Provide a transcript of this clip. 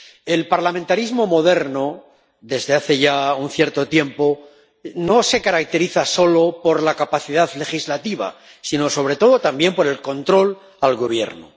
El parlamentarismo moderno —desde hace ya un cierto tiempo— no se caracteriza solo por la capacidad legislativa sino, sobre todo, también por el control al gobierno.